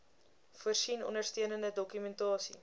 voorsien ondersteunende dokumentasie